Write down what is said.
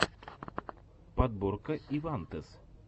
подборка ивантез